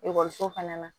Ekɔliso fana na